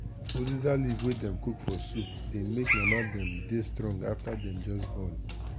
uziza leaf wey dem cook for soup dey make mama dem dey strong afta dem just born.